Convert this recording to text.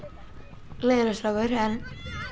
leiðinlegur strákur en